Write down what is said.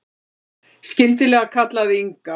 Skyndilega kallaði Inga